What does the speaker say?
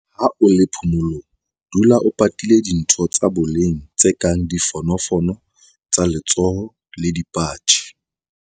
Ha o le phomolong, dula o patile dintho tsa boleng tse kang difonofono tsa letsoho le dipatjhe.